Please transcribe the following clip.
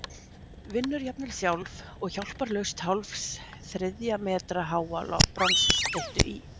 Vinnur jafnvel sjálf og hjálparlaust hálfs þriðja metra háa bronsstyttu í